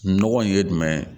Nɔgɔ in ye jumɛn ye